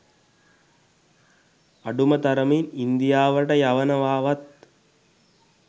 අඩුම තරමින් ඉන්දියාවට යනවාවත්